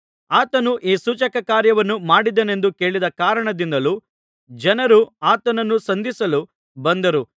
ಆತನು ಈ ಸೂಚಕಕಾರ್ಯವನ್ನು ಮಾಡಿದನೆಂದು ಕೇಳಿದ ಕಾರಣದಿಂದಲೂ ಜನರು ಆತನನ್ನು ಸಂಧಿಸಲು ಬಂದರು